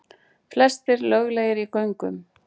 Flestir löglegir í göngunum